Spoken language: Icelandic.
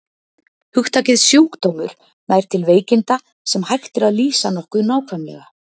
Hugtakið sjúkdómur nær til veikinda, sem hægt er að lýsa nokkuð nákvæmlega.